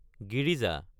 Girija